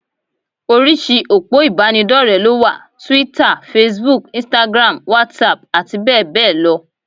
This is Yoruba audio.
Oríṣìí òpó ìbánidọ́rẹ̀ẹ́ ló wà: Twitter, Facebook, instagram, WhatsApp àti bẹ́ẹ̀ bẹ́ẹ̀ lọ